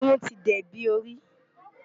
Irún ti dẹbí orí.